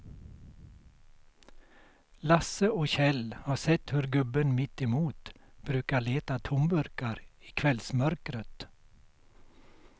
Lasse och Kjell har sett hur gubben mittemot brukar leta tomburkar i kvällsmörkret.